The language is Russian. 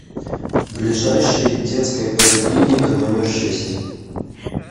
ближайший детская поликлиника номер шесть